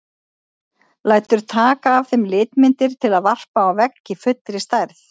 Lætur taka af þeim litmyndir til að varpa á vegg í fullri stærð.